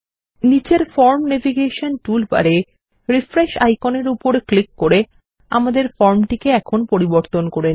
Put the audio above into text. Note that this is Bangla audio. নীচের ফরম ন্যাভিগেশন টুলবার এ রিফ্রেশ আইকনের উপর ক্লিক করে আমাদের ফর্মটিকে এখন পরিবর্তন করে নিন